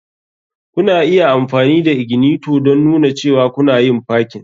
Kuna iya amfani da ignitor don nuna cewa kuna yin parking.